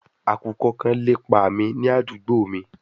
Akukọ kan lepa mi ni adugbo mi